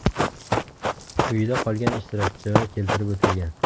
Quyida qolgan ishtirokchilar keltirib o‘tilgan.